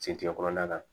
Cɛncɛn kɔnɔna la